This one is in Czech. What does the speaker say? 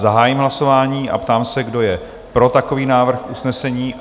Zahájím hlasování a ptám se, kdo je pro takový návrh usnesení?